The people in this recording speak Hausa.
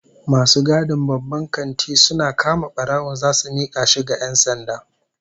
Masu gadin babban kanti suna kama barawo zasu mika shi ga 'yan sanda